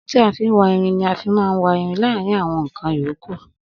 Ohun tí a fin wá irin ni a má n fi wa írín láàrín àwọn nkan yòókù